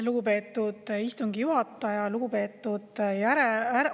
Lugupeetud istungi juhataja!